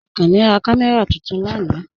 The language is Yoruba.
Akànní rá kàmẹ́ra tuntun lànà.